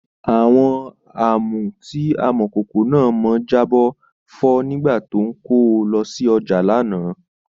Àwọn Àmù tí Amọ̀kòkò náà mọ jábọ́ fọ́ nígbà tó ń kó o lọ sí ọjà lánàá